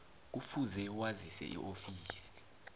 kufuze wazise iofisi